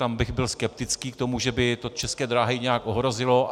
Tam bych byl skeptický k tomu, že by to České dráhy nějak ohrozilo.